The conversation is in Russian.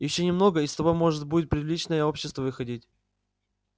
ещё немного и с тобой можно будет в приличное общество выходить